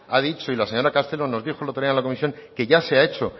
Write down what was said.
ha dicho y la señora castelo nos dijo el otro día en la comisión que ya se ha hecho